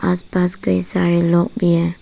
आस पास कई सारे लोग भी हैं।